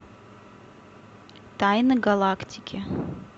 тайны галактики